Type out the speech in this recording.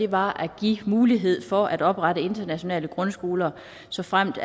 var at give mulighed for at oprette internationale grundskoler såfremt